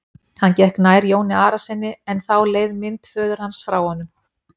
Hann gekk nær Jóni Arasyni en þá leið mynd föður hans frá honum.